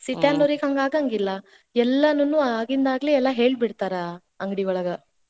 City ನ್ಯಾರ್ಗೆ ಹಂಗ ಆಗಾಂಗಿಲ್ಲಾ. ಎಲ್ಲಾನುನೂ ಆಗಿಂದಾಗ್ಲೇ ಹೇಳ್ ಬಿಡ್ತಾರ, ಅಂಗಡಿ ಒಳಗ.